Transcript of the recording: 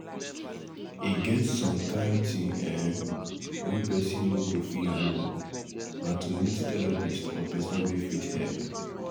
E get some kind thing um wey person no go fit handle na to meet therapist or person wey fit help